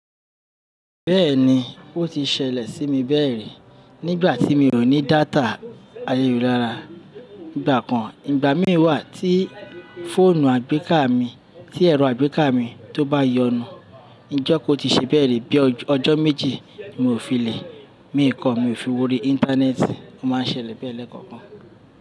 Bẹ́ẹ̀ni, ó ti ṣẹlẹ̀ sí mi bẹ́ẹ̀ rí nígbà tí mi ò ní data ayélujára nigbà kan. Ìgbà mìíràn wà tí fóònù àgbéká mi, tí ẹ̀rọ àgbéká mi tó bá yọnu, Ijokan o ti ṣe bẹ́ẹ̀ rí bí ọjọ́ méjì mi ò fi lè, mi kò, mi ò fi wọ ori Íńtánẹ́ẹ̀tì, ó máá ń ṣẹlẹ̀ bẹ́ẹ̀ lẹ́ẹ̀kọ̀kan.